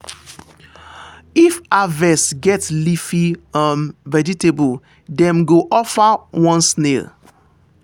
if harvest get leafy um vegetable dem go offer one snail.